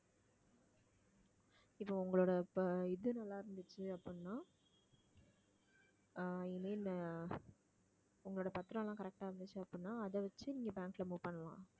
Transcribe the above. இப்ப உங்களோட ப~ இது நல்லா இருந்துச்சு அப்படின்னா ஆஹ் i mean உங்களோட பத்திரம் எல்லாம் correct ஆ இருந்துச்சு அப்படின்னா அதை வச்சு நீங்க bank ல move பண்ணலாம்